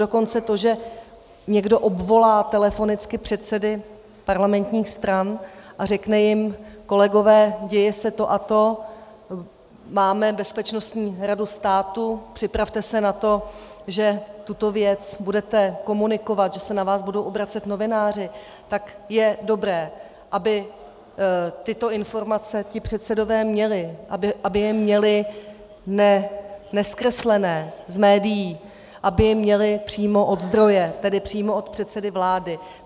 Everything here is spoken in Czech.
Dokonce to, že někdo obvolá telefonicky předsedy parlamentních stran a řekne jim kolegové, děje se to a to, máme Bezpečnostní radu státu, připravte se na to, že tuto věc budete komunikovat, že se na vás budou obracet novináři, tak je dobré, aby tyto informace ti předsedové měli, aby je měli nezkreslené z médií, aby je měli přímo od zdroje, tedy přímo od předsedy vlády.